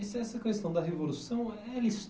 E se essa questão da revolução, eh ela